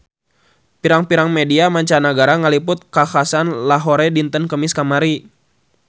Pirang-pirang media mancanagara ngaliput kakhasan di Lahore dinten Kemis kamari